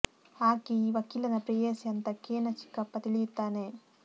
ಆಕೆ ಈ ವಕೀಲನ ಪ್ರೇಯಸಿ ಅಂತ ಕೇ ನ ಚಿಕ್ಕಪ್ಪ ತಿಳಿಯುತ್ತಾನೆ